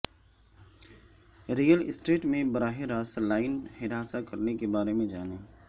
real estate میں براہ راست لائن ہراساں کرنا کے بارے میں جانیں